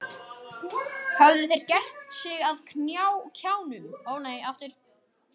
Höfðu þeir gert sig að kjánum?